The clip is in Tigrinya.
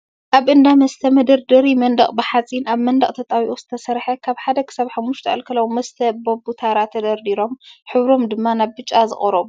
ኣብ እንዳ መስተ መደርደሪ መንደቅ ብሓፂን ኣብ መንደቅ ተጣቢቁ ዝተሰረሐ ካብ ሓደ ክሳብ ሓሙሽተ ኣልኮላዊ መስተ በቡ ታራ ተደርዲሮም ሕብሮም ድማ ናብ ቢጫ ዝቀርቡ